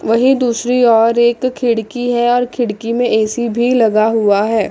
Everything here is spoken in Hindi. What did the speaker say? वही दूसरी ओर एक खिड़की है और खिड़की में ए_सी भी लगा हुआ है।